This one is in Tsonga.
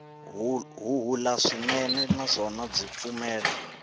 huhula swinene naswona byi pfumala